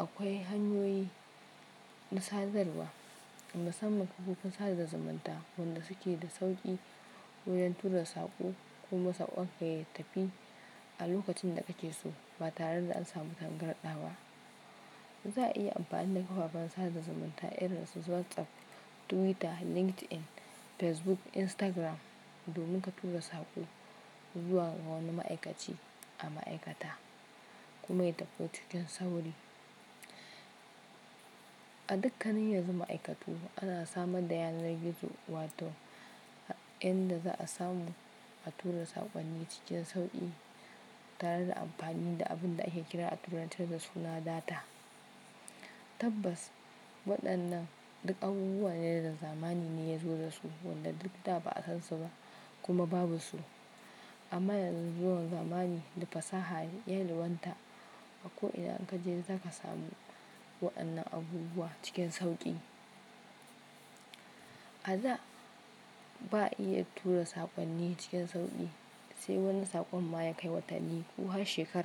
akwai hanyoyi na sadarwa, musamman kafofin sada zumunta waɗanda suke da sauƙi wurin tura saƙo kuma saƙon ka ya tafi a lokacin da kake so ba tare da an samu tangarɗa ba. Za a iya amfani da kafafen sada zumunta irin su WhatsApp, Twitter, LinkedIn, Facebook, Instagram domin ka tura saƙo zuwa ga wani ma'aikaci a ma'aikata kuma ya tafi cikin sauri. A dukkanin yanzu ma'aikatu ana samar da yanar gizo wato inda za a samu a tura saƙonni cikin sauƙi tare da amfani da abin da ake kira a turance da suna data. Tabbas, waɗannan duk abubuwa ne da zamani ne ya zo da su, wanda duk da ba a san su ba kuma babu su. Amma yanzu zuwan zamani da fasaha yalwanta a ko ina kaje zaka samu waɗannan abubuwa cikin sauƙi. A da ba iya tura saƙonni cikin sauƙi sai wani saƙon ma ya kai watanni ko har shekara.